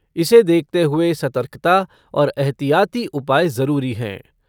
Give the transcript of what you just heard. इसे देखते हुए सतर्कता और एहतियाती उपाय जरूरी हैं।